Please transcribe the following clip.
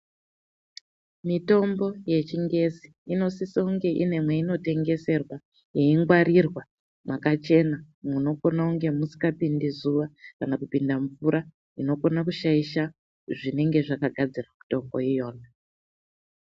Mitombo yechingezi inosise kunge ine mweinotengeserwa yeingwarirwa mwakachena munokone kunge musingapindi zuwa kana kupinda mvura inokone kushaisha zvinenge zvakagadzira mitombo iyona.